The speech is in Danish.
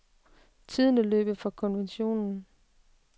Tiden er løbet fra konventionen.